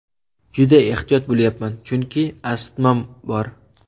Juda ehtiyot bo‘lyapman, chunki astmam bor.